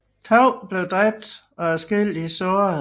To blev dræbt og adskillige såret